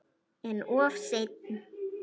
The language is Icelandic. En of seinn.